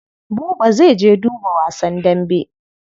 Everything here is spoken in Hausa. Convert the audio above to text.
Buba zai je duba wasan dambe.